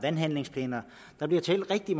i